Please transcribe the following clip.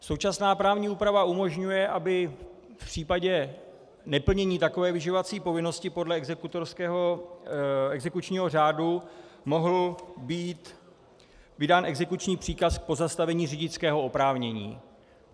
Současná právní úprava umožňuje, aby v případě neplnění takové vyživovací povinnosti podle exekučního řádu mohl být vydán exekuční příkaz k pozastavení řidičského oprávnění.